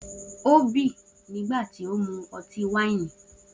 O si bì nigbati o mu ọti-waini